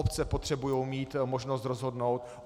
Obce potřebují mít možnost rozhodnout.